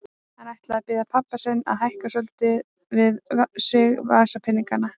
Hann ætlaði að biðja pabba sinn að hækka svolítið við sig vasapeningana.